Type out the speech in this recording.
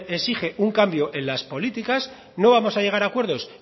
exige un cambio en las políticas no vamos a llegar a acuerdos